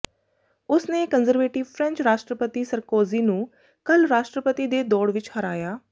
ਉਸਨੇ conservative French ਰਾਸ਼ਟਰਪਤੀ Sarkozy ਨੂੰ ਕੱਲ੍ਹ ਰਾਸ਼ਟਰਪਤੀ ਦੇ ਦੌੜ ਵਿੱਚ ਹਰਾਇਆ